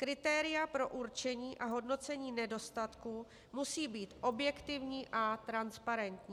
Kritéria pro určení a hodnocení nedostatku musí být objektivní a transparentní.